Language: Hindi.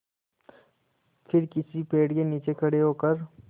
फिर किसी पेड़ के नीचे खड़े होकर